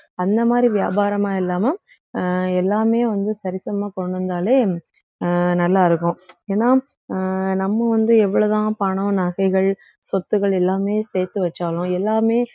அந்த மாதிரி வியாபாரமா இல்லாம அஹ் எல்லாமே வந்து சரிசமமா கொண்டு வந்தாலே அஹ் நல்லா இருக்கும் ஏன்னா அஹ் நம்ம வந்து எவ்வளவுதான் பணம், நகைகள், சொத்துக்கள் எல்லாமே சேர்த்து வச்சாலும் எல்லாமே